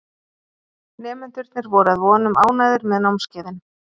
Nemendurnir voru að vonum ánægðir með námskeiðin.